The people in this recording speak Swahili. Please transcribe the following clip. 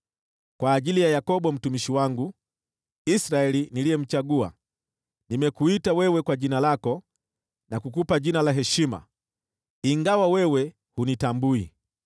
Kwa ajili ya Yakobo mtumishi wangu, Israeli niliyemchagua, nimekuita wewe kwa jina lako, na kukupa jina la heshima, ingawa wewe hunitambui.